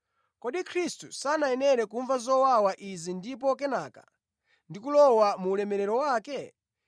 Kodi Khristu sanayenera kumva zowawa izi ndipo kenaka ndi kulowa mu ulemerero wake?”